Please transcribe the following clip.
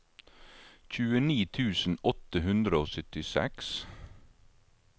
tjueni tusen åtte hundre og syttiseks